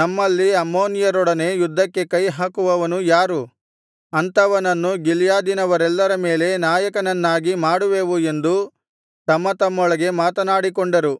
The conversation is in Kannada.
ನಮ್ಮಲ್ಲಿ ಅಮ್ಮೋನಿಯರೊಡನೆ ಯುದ್ಧಕ್ಕೆ ಕೈಹಾಕುವವನು ಯಾರು ಅಂಥವನನ್ನು ಗಿಲ್ಯಾದಿನವರೆಲ್ಲರ ಮೇಲೆ ನಾಯಕನನ್ನಾಗಿ ಮಾಡುವೆವು ಎಂದು ತಮ್ಮ ತಮ್ಮೊಳಗೆ ಮಾತನಾಡಿಕೊಂಡರು